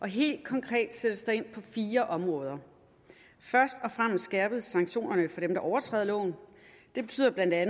helt konkret sættes der ind på fire områder først og fremmest skærpes sanktionerne over for dem der overtræder loven det betyder bla at